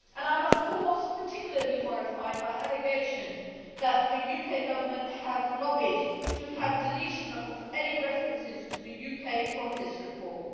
I am of course particularly horrified by allegations that the UK Government has lobbied to have deletion of any references to the UK from this report.